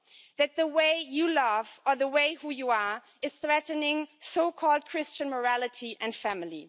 That the way you love, or the way that you are is threatening so called Christian morality and family.